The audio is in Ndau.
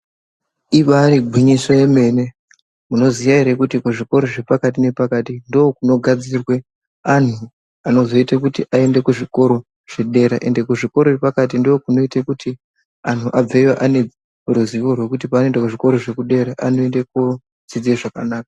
Ibari gwinyiso yemene, munoziya ere kuti kuzvikora zvepakati nepakati ndokunogadzirwe anhu anozoite kuti aende kuzvikoro zvedera, ende kuzvikora zvepakati ndokunoite kuti anhu abveyo ane ruzivo rwekuti pavanoenda kuzvikora zvekudera anoende kodzidza zvakanaka.